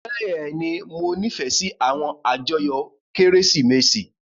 Bẹ́ẹ̀ni, Mo nifẹ si awọn ajoyo Keresimesi.